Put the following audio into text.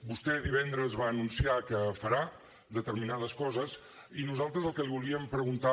vostè divendres va anunciar que farà determinades coses i nosaltres el que li volíem preguntar